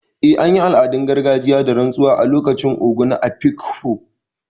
Eh, an yi al’adun gargajiya da rantsuwa a lokacin Ogo na Afikpo.